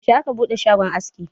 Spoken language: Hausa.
yaushe aka bude shagon aski?